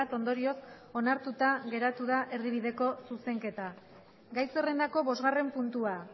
ondorioz onartuta geratu da erdibideko zuzenketa gai zerrendako bosgarren puntua